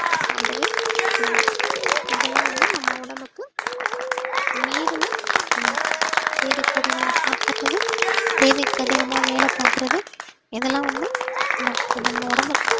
சாப்பிடவே கூடாது இதெல்லாம் வந்து நம்ம உடம்புக்கு மீறின ஒண்ணு தேவைக்கு அதிகமா சாப்பிடுறது தேவைக்கு அதிகமா வேலை பார்க்கிறது இதெல்லாம் வந்து நம்ம உடம்புக்கு